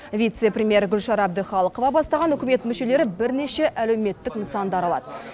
вице премьер гүлшара әбдіқалықова бастаған үкімет мүшелері бірнеше әлеуметтік нысанды аралады